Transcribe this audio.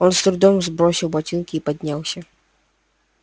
он с трудом сбросил ботинки и поднялся